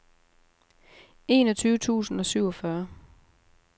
enogtyve tusind og syvogfyrre